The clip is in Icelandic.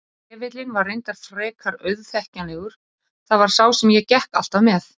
Trefillinn var reyndar frekar auðþekkjanlegur, það var sá sem ég gekk alltaf með.